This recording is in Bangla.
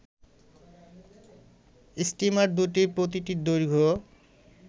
স্টিমার দুটির প্রতিটির দৈর্ঘ্য